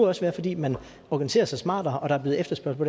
også være fordi man organiserer sig smartere og der er blevet efterspørgsel